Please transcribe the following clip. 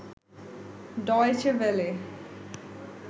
Deutsche Welle